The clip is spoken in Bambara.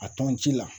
A tɔn ji la